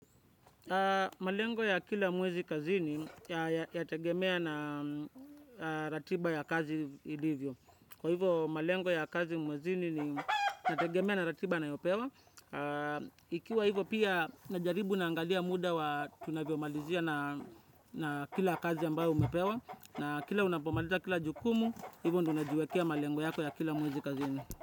Malengo ya kila mwezi kazini yategemea na ratiba ya kazi ilivyo. Kwa hivyo malengo ya kazi mwezini inategemea na ratiba nayopewa. Ikiwa hivyo pia najaribu na angalia muda wa tunavyo malizia na kila kazi ambayo umepewa. Na kila unapomaliza kila jukumu, hivyo ndu unajiwekea malengo yako ya kila mwezi kazini.